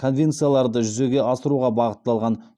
конвенцияларды жүзеге асыруға бағытталған